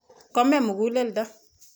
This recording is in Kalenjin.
Kome muguleldo.